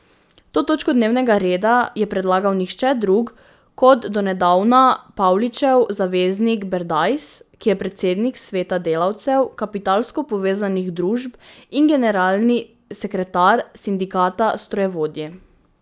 To točko dnevnega reda je predlagal nihče drug kot donedavna Pavličev zaveznik Berdajs, ki je predsednik sveta delavcev kapitalsko povezanih družb in generalni sekretar Sindikata strojevodij.